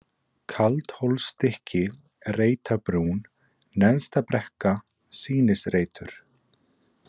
Kaldhólsstykki, Reitabrún, Neðstabrekka, Sýnisreitur